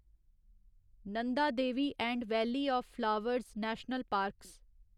Nanda Devi and valley of flowers national parks